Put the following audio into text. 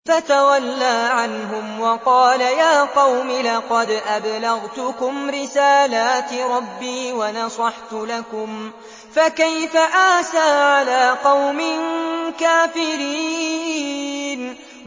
فَتَوَلَّىٰ عَنْهُمْ وَقَالَ يَا قَوْمِ لَقَدْ أَبْلَغْتُكُمْ رِسَالَاتِ رَبِّي وَنَصَحْتُ لَكُمْ ۖ فَكَيْفَ آسَىٰ عَلَىٰ قَوْمٍ كَافِرِينَ